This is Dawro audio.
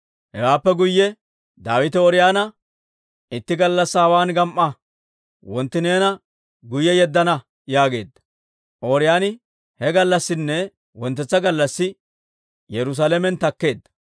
Hewaappe guyye Daawite Ooriyoona, «Itti gallassaa hawaan gam"a; wontti neena guyye yeddana» yaageedda; Ooriyooni he gallassinne wonttetsa gallassi Yerusaalamen takkeedda.